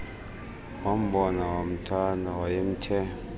wambona wamthanda wayemthe